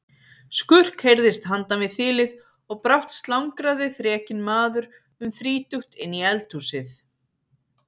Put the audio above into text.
Skurk heyrðist handan við þilið og brátt slangraði þrekinn maður um þrítugt inn í eldhúsið.